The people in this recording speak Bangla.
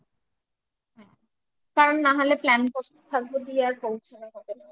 হ্যাঁ কারণ না হলে plan দিয়ে আর পৌঁছানো হবে না